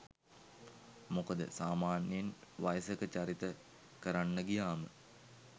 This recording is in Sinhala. මොකද සාමාන්‍යයෙන් වයසක චරිත කරන්න ගියාම